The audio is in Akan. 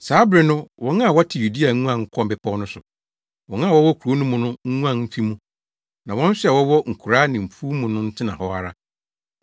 Saa bere no wɔn a wɔte Yudea nguan nkɔ mmepɔw no so; wɔn a wɔwɔ kurow no mu no nguan mfi mu, na wɔn nso a wɔwɔ nkuraa ne mfuw mu no ntena hɔ ara.